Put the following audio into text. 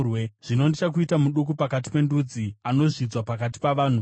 “Zvino ndichakuita muduku pakati pendudzi, anozvidzwa pakati pavanhu.